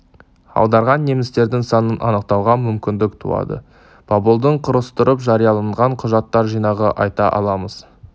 аударған немістердің санын анықтауға мүмкіндік туады поболдің құрастырып жарияланған құжаттар жинағын айта аламыз